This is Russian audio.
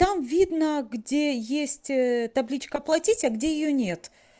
там видно где есть табличка оплатить а где её нет